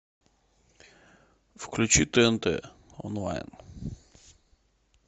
включи тнт онлайн